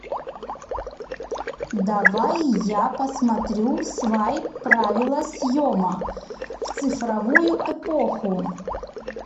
давай я посмотрю свайп правила съема в цифровую эпоху